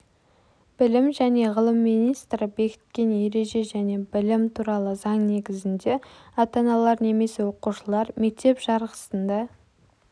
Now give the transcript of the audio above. білім және ғылым министрі бекіткен ереже және білім туралы заң негізінде ата-аналар немесе оқушылар мектеп жарғысында